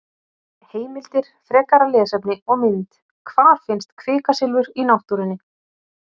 Heimildir, frekara lesefni og mynd: Hvar finnst kvikasilfur í náttúrunni?